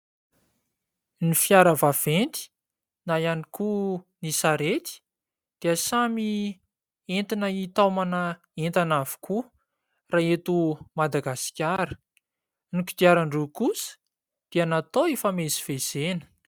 Ny fiara vaventy na ihany koa ny sarety dia samy entina hitaomana entana avokoa raha eto Madagasikara, ny kodiaran-droa kosa dia natao hifamezivezena.